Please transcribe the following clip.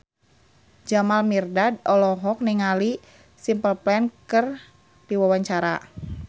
Jamal Mirdad olohok ningali Simple Plan keur diwawancara